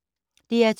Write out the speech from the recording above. DR2